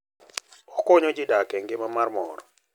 Okonyo ji dak e ngima mar mor.